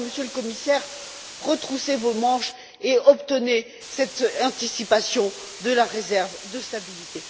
Alors, Monsieur le Commissaire, retroussez vos manches et obtenez cette anticipation de la réserve de stabilité.